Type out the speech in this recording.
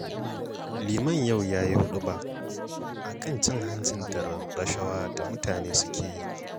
Liman yau ya yi huɗuba a kan cin hanci da rashawa da mutane suke yi